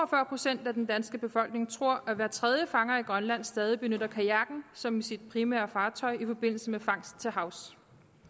procent af den danske befolkning tror at hver tredje fanger i grønland stadig benytter kajakken som sit primære fartøj i forbindelse med fangst til havs